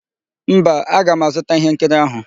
Mba, aga m azụta íhénkiri áhụ̀.